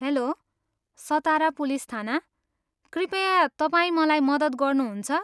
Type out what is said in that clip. Hello, Satara police थाना, कृपया तपाईँ मलाई मद्दत गर्नुहुन्छ?